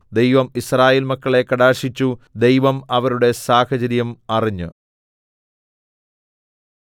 ദൈവം യിസ്രായേൽ മക്കളെ കടാക്ഷിച്ചു ദൈവം അവരുടെ സാഹചര്യം അറിഞ്ഞ്